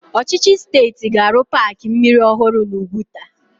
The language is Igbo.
Ọchịchị steeti ga-arụ paaki mmiri ọhụrụ n'Úgwùtà.